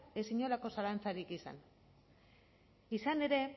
ez inolako zalantzarik izan izan ere